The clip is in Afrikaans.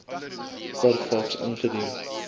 per faks ingedien